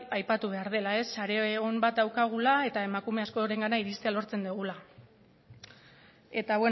aipatu behar dela sare on bat daukagula eta emakume askorengana iristea lortzen dugula eta